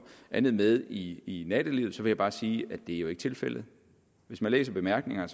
andet med i nattelivet vil jeg bare sige at det jo ikke er tilfældet hvis man læser bemærkningerne